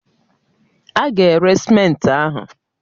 A ga-ere simenti ahụ